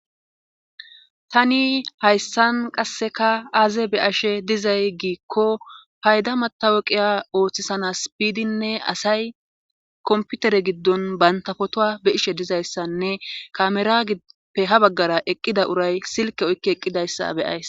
tani hayssan qasseka aaze be ashe dizay giikko payda mataweqiya ooththisana spiydinne asay komputere giddon bantafotoa be ishe dizayssanne kamera gppe ha baggara eqqida uray silke oykki eqqidayssa beyays